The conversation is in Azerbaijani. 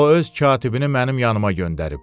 O öz katibini mənim yanıma göndərib.